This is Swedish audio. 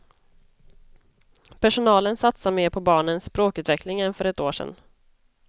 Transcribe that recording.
Personalen satsar mer på barnens språkutveckling än för ett år sedan.